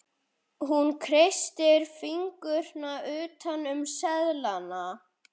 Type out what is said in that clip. Hún kreistir fingurna utan um seðlana.